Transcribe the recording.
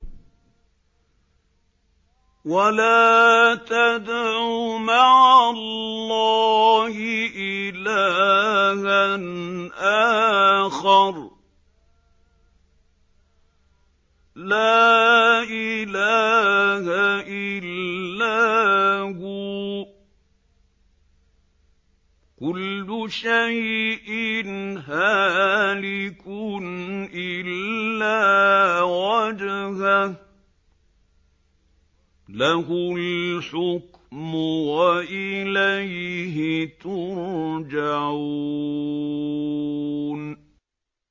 وَلَا تَدْعُ مَعَ اللَّهِ إِلَٰهًا آخَرَ ۘ لَا إِلَٰهَ إِلَّا هُوَ ۚ كُلُّ شَيْءٍ هَالِكٌ إِلَّا وَجْهَهُ ۚ لَهُ الْحُكْمُ وَإِلَيْهِ تُرْجَعُونَ